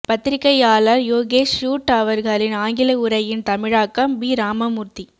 பத்திரிக்கையாளர் யோகேஷ் சூட் அவர்களின் ஆங்கில உரையின் தமிழாக்கம் பி ராமமூர்த்தி